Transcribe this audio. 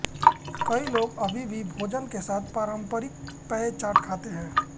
कई लोग अभी भी भोजन के साथ पारंपरिक पेय चाट खाते हैं